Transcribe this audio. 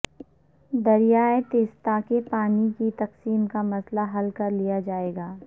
دریائے تیستا کے پانی کی تقسیم کا مسئلہ حل کرلیا جائے گا